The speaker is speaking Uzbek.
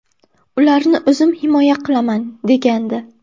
Ularni o‘zim himoya qilaman”, degandi.